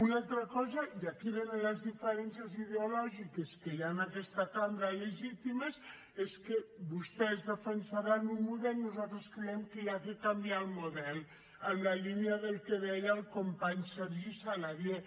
una altra cosa i aquí venen les diferències ideològiques que hi ha en aquesta cambra legítimes és que vostès defensaran un model nosaltres creiem que cal canviar el model en la línia del que deia el company sergi saladié